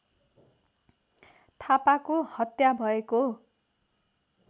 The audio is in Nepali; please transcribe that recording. थापाको हत्या भएको